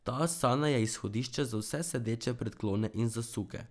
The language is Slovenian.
Ta asana je izhodišče za vse sedeče predklone in zasuke.